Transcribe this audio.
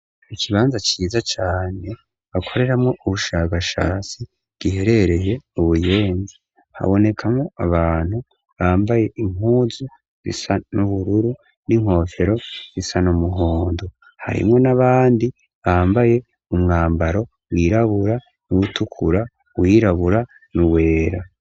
Ikibanza ciza cane bakoreramwo ubushakashatsi giherereye mu Buyenzi. Habonekamwo abantu bambaye impuzu zisa n'ubururu n'inkofero zisa n'umuhondo. Harimwo n'abandi bambaye umwambaro wirabura, uwutukura, uwirabura n'uwera.